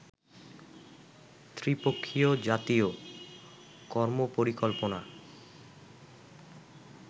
ত্রি-পক্ষীয় জাতীয় কর্মপরিকল্পনা